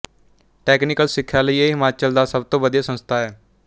technical ਸਿੱਖਿਆ ਲਈ ਇਹ ਹਿਮਾਚਲ ਦਾ ਸਭ ਤੋਂ ਵਧੀਆ ਸੰਸਥਾ ਹੈ